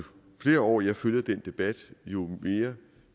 flere år jeg følger den debat jo mere